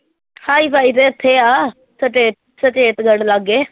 hi-fi ਤੇ ਇੱਥੇ ਆ ਸਚੇ ਸਚੇਤਗੜ ਲਾਗੇ